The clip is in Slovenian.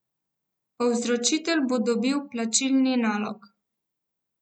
Povzročitelj bo dobil plačilni nalog.